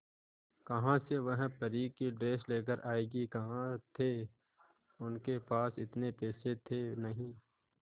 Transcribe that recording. कहां से वह परी की ड्रेस लेकर आएगी कहां थे उनके पास इतने पैसे थे नही